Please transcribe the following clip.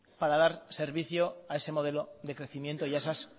para dar servicios a ese modelo de crecimiento y a esas